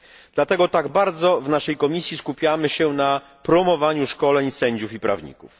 Dlatego tak bardzo w naszej komisji skupiamy się na promowaniu szkoleń sędziów i prawników.